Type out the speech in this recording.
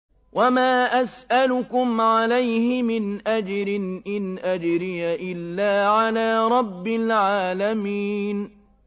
وَمَا أَسْأَلُكُمْ عَلَيْهِ مِنْ أَجْرٍ ۖ إِنْ أَجْرِيَ إِلَّا عَلَىٰ رَبِّ الْعَالَمِينَ